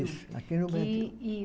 Fiz, aqui no Brasil.